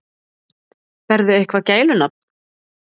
Berðu eitthvað gælunafn?